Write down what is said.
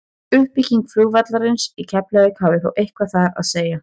uppbygging flugvallarins í keflavík hafði þó eitthvað þar að segja